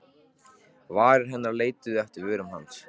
Varir hennar leituðu eftir vörum hans.